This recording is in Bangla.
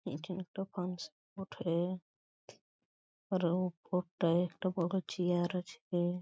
এটা একটা ফাংশন বঠে আর উপরটায় একটা বড় চেয়ার আছে।